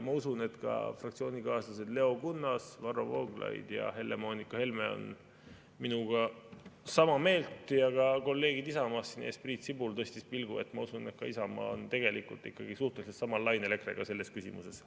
Ma usun, et ka fraktsioonikaaslased Leo Kunnas, Varro Vooglaid ja Helle-Moonika Helme on minuga sama meelt ja ka kolleegid Isamaast – näed, Priit Sibul tõstis pilgu, nii et ma usun, et ka Isamaa on tegelikult EKRE-ga suhteliselt samal lainel selles küsimuses.